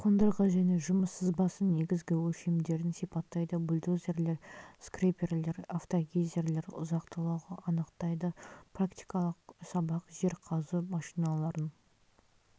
қондырғы және жұмыс сызбасын негізгі өлшемдерін сипаттайды бульдозерлер скреперлер автогейзерлер ұзақтылығын анықтайды практикалық сабақ жер қазу машиналарын